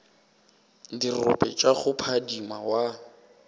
dirope tša go phadima wa